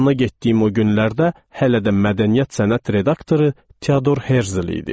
Yanına getdiyim o günlərdə hələ də mədəniyyət sənət redaktoru Teodor Herzel idi.